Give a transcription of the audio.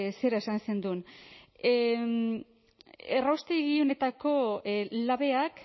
zera esan zenuen erraustegi honetako labeak